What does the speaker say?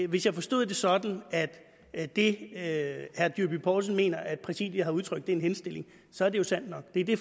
hvis jeg forstod det sådan at det herre john dyrby paulsen mener at præsidiet har udtrykt er en henstilling så er det jo sandt nok det er det